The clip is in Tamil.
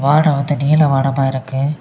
வானம் வந்து நீல வானமா இருக்கு.